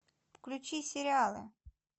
включи сериалы